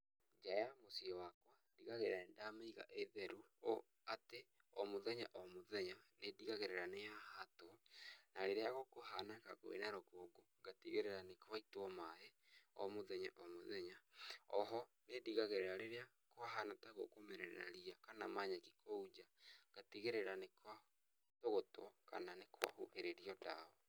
Njaa ya mũciĩ wakwa ndigagĩrĩra nĩndameiga ĩ theru o atĩ o mũthenya o mũthenya nĩ ndigagĩrĩra nĩyahatwo na rĩrĩa gũkũhana kuĩna rũkũngũ ngatigĩrĩra nĩgwaitua maĩ o mũthenya o mũthenya oho nĩndigagĩrĩra rĩrĩa kwahana ta gũkũmera ria kana manyeki kũu nja ngatigĩrĩra nĩkwatũgũtwo kana nĩkwa huhĩrĩrwa ndawa .